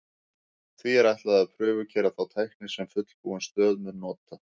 Því er ætlað að prufukeyra þá tækni sem fullbúin stöð mun nota.